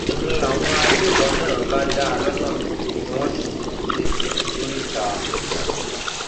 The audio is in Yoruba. n láwọn agbébọn náà bá dá a lọnà tí wọn sì jí i gbé lóríta òkèadó